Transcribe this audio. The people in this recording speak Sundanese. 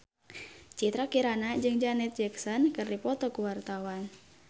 Citra Kirana jeung Janet Jackson keur dipoto ku wartawan